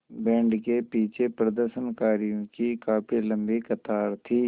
band के पीछे प्रदर्शनकारियों की काफ़ी लम्बी कतार थी